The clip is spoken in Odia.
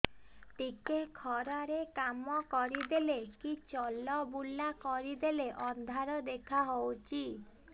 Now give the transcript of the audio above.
ଟିକେ ଖରା ରେ କାମ କରିଦେଲେ କି ଚଲବୁଲା କରିଦେଲେ ଅନ୍ଧାର ଦେଖା ହଉଚି